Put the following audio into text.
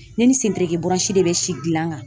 Ne ni sen tereke bɔraɛɔsi de bɛ si gilan kan!